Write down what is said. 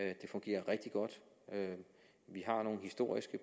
det fungerer rigtig godt vi har nogle historiske